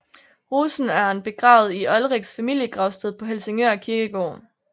Rosenørn Begravet i Olriks familiegravsted på Helsingør Kirkegård